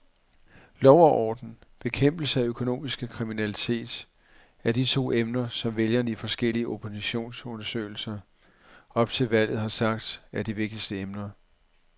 Lov og orden, bekæmpelse af økonomisk kriminalitet er de to emner, som vælgerne i forskellige opinionsundersøgelser op til valget har sagt, er de vigtigste emner.